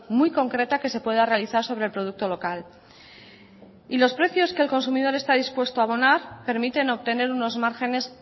muy concreta que se pueda realizar sobre el producto local y los precios que el consumidor está dispuesto a abonar permiten obtener unos márgenes